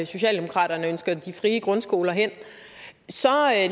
socialdemokraterne ønsker de frie grundskoler hen så